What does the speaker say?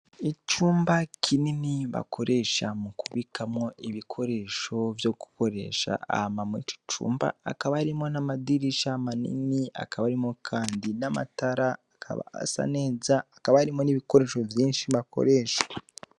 Icumba kinini bakoresha mu kubikamwo ibikoresho vyo gukoresha, hama muri ico cumba hakaba harimwo n'amadirisha manin,i hakaba harimwo kandi n'amatara akaba asa neza, hakaba harimwo n'ibikoresho vyinshi bakoresha.